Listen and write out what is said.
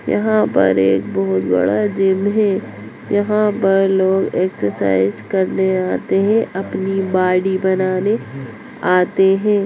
यहाँ पर एक बहुत बड़ा जिम है यहाँ पर लोग एक्सरसाइज करने आते हैं अपनी बॉडी बनाने आते है।